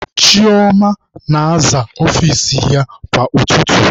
Chioma na-aza ọfici ya kwa ụtụtụ.